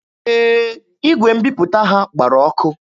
Ee, igwe mbiputa ha gbara ọkụ.